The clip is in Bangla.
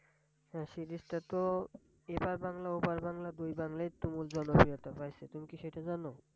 হ্যাঁ Series টা তো এপার বাংলা ওপার বাংলা দু বাংলাতেই সমান জনপ্রিয়তা পাইসে তুমি কি সেটা জানো।